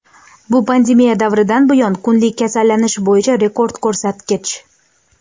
Bu pandemiya davridan buyon kunlik kasallanish bo‘yicha rekord ko‘rsatkich.